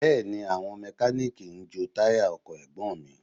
Bẹ́ẹ̀ni, àwọn Mẹkáníìkì ń jo táyà ọkọ̀ Ẹ̀gbọ́n mi